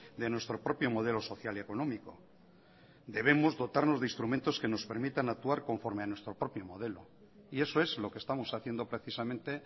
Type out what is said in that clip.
de nuestro propio modelo social y económico debemos dotarnos de instrumentos que nos permitan actuar conforme a nuestro propio modelo y eso es lo que estamos haciendo precisamente